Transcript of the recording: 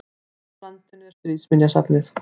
Hvar á landinu er Stríðsminjasafnið?